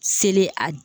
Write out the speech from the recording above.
Seli a